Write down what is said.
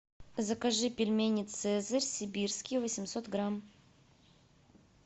закажи пельмени цезарь сибирские восемьсот грамм